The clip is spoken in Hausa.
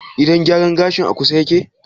Gidan gyaran gashin a kusa yake?